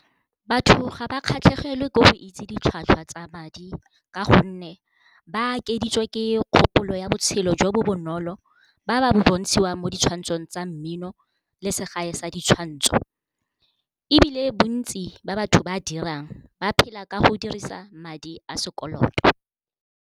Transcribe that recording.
Batho ga ba kgatlhegele ka go itse ditlhwatlhwa tsa madi ka gonne ba akeditswe ke kgopolo ya botshelo jo bo bonolo ba ba bo bontshiwang mo di tshwantsong tsa mmino le segae sa ditshwantsho, ebile bontsi ba batho ba dirang ba phela ka go dirisa madi a sekoloto.